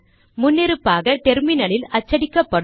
முன்னிருப்பாக டெர்மினலில் அச்சடிக்கப்படும்